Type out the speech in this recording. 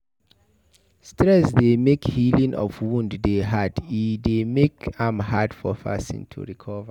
Stress dey make healing of wound dey hard e dey make am hard for person to recover